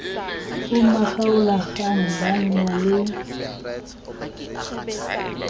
ho makgaolakgang ba na le